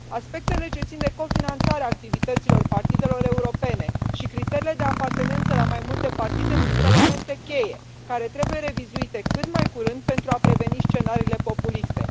Aspectele ce țin de cofinanțarea activităților partidelor europene și criteriile de apartenență la mai multe partide sunt elemente cheie care trebuie revizuite cât mai curând pentru a preveni scenariile populiste.